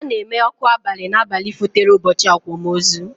Ana eme ọkụ abali na abalị fotere ụbọchị akwamozu